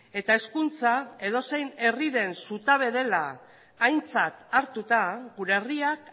eta hezkuntza edozein herriren zutabe dela aintzat hartuta gure herriak